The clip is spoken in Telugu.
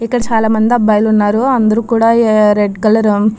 ఇక్కడ చాల మంది అబ్బాయిలు ఉన్నారు అందరు కూడా రెడ్ కలర్ --